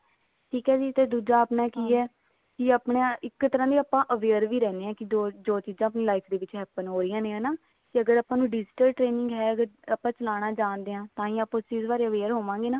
ਠੀਕ ਹੈ ਜੀ ਤੇ ਦੂਜਾ ਆਪਣਾ ਕੇ ਆਪਾਂ ਇੱਕ ਤਰ੍ਹਾਂ ਦੇ ਆਪਾਂ aware ਵੀ ਰਹਿੰਦੇ ਹਾਂ ਕੇ ਜੋ ਚੀਜ਼ਾਂ ਆਪਣੀ life ਦੇ ਵਿੱਚ happen ਹੋ ਰਹੀਆਂ ਨੇ ਹਨਾ ਤੇ ਅਗਰ ਆਪਾਂ ਨੂੰ digital training ਹੈ ਤਾਂ ਆਪਾਂ ਚਲਾਉਣਾ ਜਾਣਦੇ ਹਾਂ ਤਾਂ ਆਪਾਂ ਉਸ ਚੀਜ਼ ਬਾਰੇ aware ਹੋਵਾਂਗੇ ਨਾ